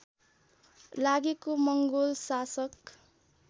लागेको मङ्गोल शासक